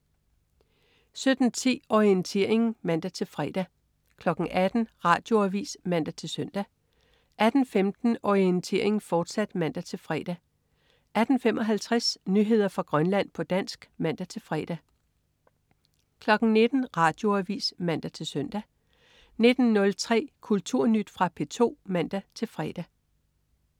17.10 Orientering (man-fre) 18.00 Radioavis (man-søn) 18.15 Orientering, fortsat (man-fre) 18.55 Nyheder fra Grønland, på dansk (man-fre) 19.00 Radioavis (man-søn) 19.03 Kulturnyt. Fra P2 (man-fre)